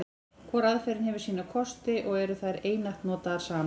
Hvor aðferðin hefur sína kosti, og eru þær einatt notaðar saman.